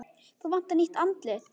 Þá vantar nýtt andlit.